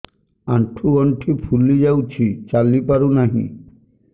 ଆଂଠୁ ଗଂଠି ଫୁଲି ଯାଉଛି ଚାଲି ପାରୁ ନାହିଁ